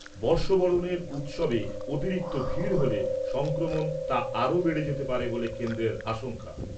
বর্ষবরণের উৎসবে অতিরিক্ত ভিড় হলে সংক্রমণ আরও বেড়ে যেতে পারে বলে কেন্দ্রের আশঙ্কা।